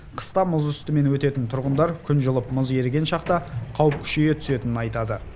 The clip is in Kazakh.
қыста мұз үстімен өтетін тұрғындар күн жылып мұз еріген шақта қауіп күшейе түсетінін айтады